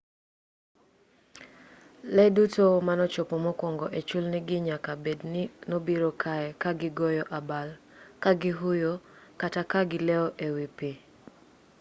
lee duto manochopo mokwongo e chulni gi nyaka bed ni nobiro kae ka gigoyo abal ka gihuyo kata ka gileo e wi pi